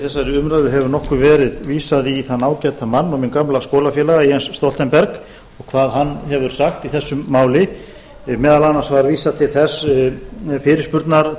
þessari umræðu hefur nokkuð verið vísað í þann ágæta mann og minn gamla skólafélaga jens stoltenberg og hvað hann hefur sagt í þessu máli meðal annars var vísað til